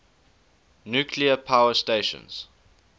nuclear power stations